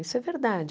Isso é verdade.